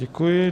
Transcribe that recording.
Děkuji.